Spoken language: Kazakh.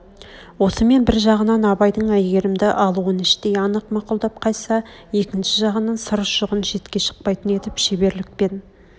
осымен бір жағынан абайдың әйгерімді алуын іштей анық мақұлдап қайтса екінші жағынан сыр ұшығын шетке шықпайтын етіп шеберлікпен